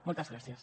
moltes gràcies